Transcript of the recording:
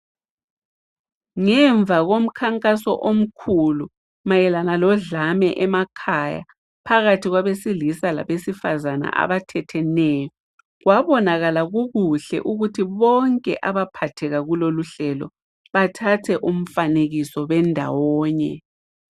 Ngemva komkhankaso omkhulu mayelana lodlame emakhaya phakathi kwabesilisa labesifazana abathetheneyo, kwabonakala kukuhle ukuthi bonke abaphatheka kuloluhlelo, bathathe umfanekiso bendawonye.